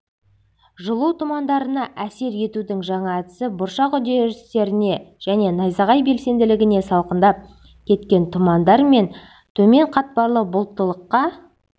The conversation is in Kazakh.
жылу тұмандарына әсер етудің жаңа әдісі бұршақ үдерістеріне және найзағай белсенділігіне салқындап кеткен тұмандар мен төмен қатпарлы бұлттылыққа